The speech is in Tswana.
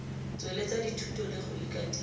tsweletsa dithuto le go ikatisa